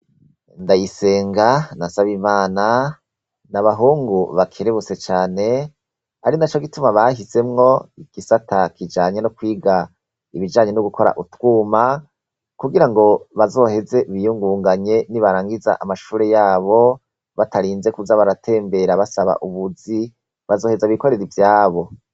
Ndayisenga na Nsabimana ni abahungu bakerebutse cane. Ari naco gituma bahisemwo igisata kijanye no kwiga ibijanye no gukora utwuma kugira ngo bazoheze biyungunganye nibarangiza amashure yabo. Batarinze kuza baratembera basaba ubuzi, bazoheza bikorere ivyabo.